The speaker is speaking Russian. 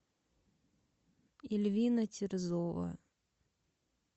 ильвина терзова